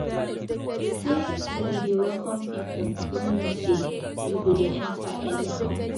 Sey we dey welcome pipu no mean sey you go dey enta anyhow.